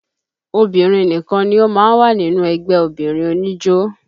Obìnrin nìkan ni ó máa ń wà nínú ẹgbẹ́ obìnrin oníjó